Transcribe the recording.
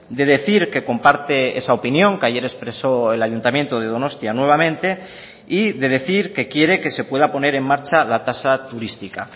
de decir que comparte esa opinión que ayer expreso el ayuntamiento de donostia nuevamente y de decir que quiere que se pueda poner en marcha la tasa turística